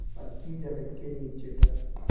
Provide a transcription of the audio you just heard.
पक्की जगत के नीचे तक